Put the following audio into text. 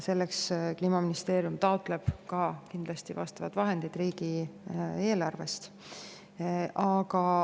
Selleks Kliimaministeerium taotleb kindlasti vahendeid riigieelarvest.